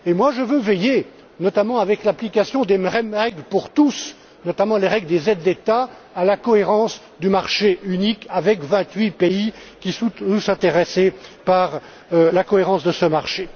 Je veux veiller, notamment avec l'application des même règles pour tous, notamment les règles sur les aides d'État, à la cohérence du marché unique avec vingt huit pays qui sont tous intéressés par la cohérence de ce marché.